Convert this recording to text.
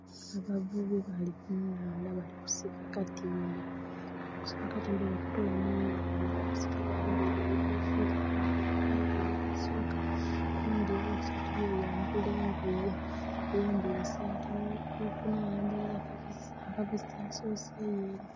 Abavubi bali kunhandha bali kusika katimba, bali kusika katimba bwebakatoola munhandha. Balikusika bambeire ebikofira ku mitwe bano ababiri abasoka. Oghundhi owokusatu yeyambula engoye, ayambwire esaati. Owokuna yayambala aka vesti, asoseyo ele.